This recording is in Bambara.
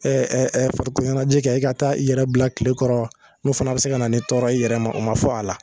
Ɛ ɛ ɛ farikoloɲɛnajɛ kɛ e ka taa i yɛrɛ bila kile kɔrɔ n'o fɛnɛ be se ka na nin tɔɔrɔ ye i yɛrɛ ma o ma fɔ a la